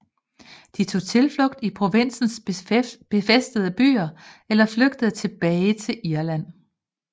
De tog tilflugt i provinsens befæstede byer eller flygtede tilbage til Irland